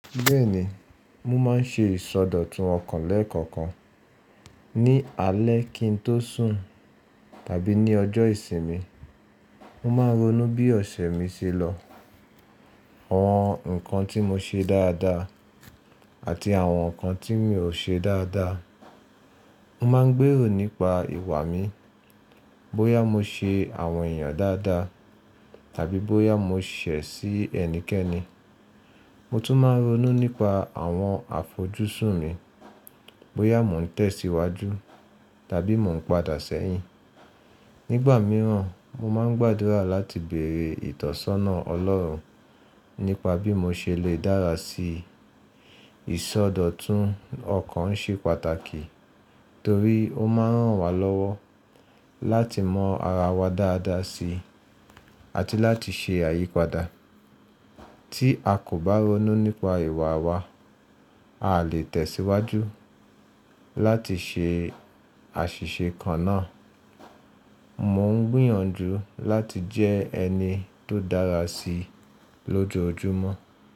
Bẹ́ẹ̀ni, mo máa ń ṣe ìsọdọ̀tun ọ̀kan lẹ́ẹ̀kan kan. Ni alẹ́ kí n tó sùn tàbí ní ọjọ́ ìsinmi, mo máa ronú bí ọ̀sẹ̀ mi ṣe lọ, àwọn nǹkan tí mo ṣe dáadáa àti àwọn nǹkan tí mi ò ṣe dáadáa. Mo máa ń gbèrò nípa ìwà mi, bóyá mo ṣe àwọn èèyàn dáadáa tàbí bóyá mo ṣẹ̀ sí ẹnikẹ́ni. Mo tún máa ń ronú nípa àwọn àfojosùn mi, bóyá mò ń tẹ̀síwájú tàbí mò ń padà sẹ́yìn. Nígbà mìíràn, mo máa ń gbàdúrà láti bèrè ìtọ́sọ́nà Ọlọ́run nípa bí mo ṣe lè dára sí i. Ìsọdọ̀tun ọ̀kan ń ṣe pàtàkì torí ó máa ń ràn wá lọ́wọ́ láti mọ ara wa dáadáa si àti láti ṣe àyípadà. Tí a kò bá ronú nípa ìwà wa, a lè tẹ̀síwájú láti ṣe àṣìṣe kan náà. Mo ń gbìyànjú láti jẹ́ ẹni tó dára si lójoojúmọ́.